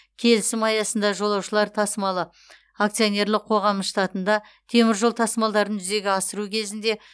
келісім аясында жолаушылар тасымалы акционерлік қоғамы штатында темір жол тасымалдарын жүзеге асыру кезінде